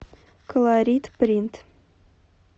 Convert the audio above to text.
колорит принт